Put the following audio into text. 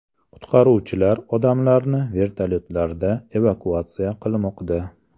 Qutqaruvchilar odamlarni vertolyotlarda evakuatsiya qilmoqda.